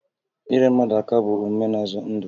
Inyere mmadụ aka bụ omume na-azọ ndụ